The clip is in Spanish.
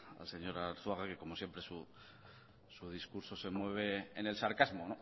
al señor arzuaga que como siempre su discurso se mueve en el sarcasmo